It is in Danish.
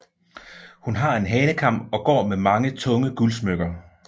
Hun har hanekam og går med mange tunge guldsmykker